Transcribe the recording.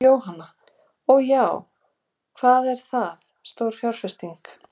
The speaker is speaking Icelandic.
Jóhanna: Og já, hvað er það stór fjárfesting?